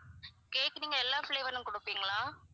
cake நீங்க எல்லாம் flavour லயும் கொடுப்பீங்களா?